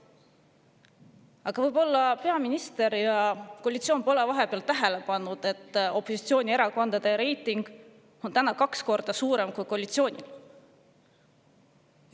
Aga võib-olla peaminister ja koalitsioon pole vahepeal tähele pannud, et opositsioonierakondade reiting on täna kaks korda suurem kui koalitsioonil.